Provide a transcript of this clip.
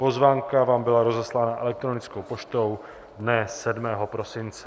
Pozvánka vám byla rozeslána elektronickou poštou dne 7. prosince.